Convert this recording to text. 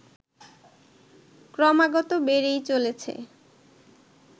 ক্রমাগত বেড়েই চলেছে